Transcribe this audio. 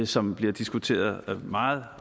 som bliver diskuteret meget